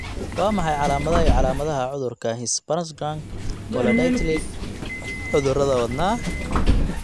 Waa maxay calaamadaha iyo calaamadaha cudurka Hirschsprung polydactyly cudurada wadnaha?